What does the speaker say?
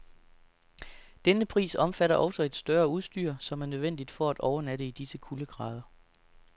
Denne pris omfatter også et større udstyr, som er nødvendigt for at overnatte i disse kuldegrader.